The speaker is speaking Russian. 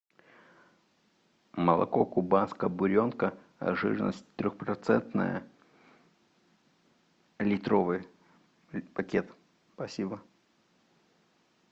молоко кубанская буренка жирность трехпроцентная литровый пакет спасибо